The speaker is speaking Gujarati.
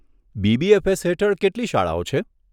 બીબીએફએસ હેઠળ કેટલી શાળાઓ છે?